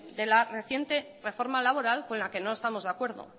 de la reciente reforma laboral con la que no estamos de acuerdo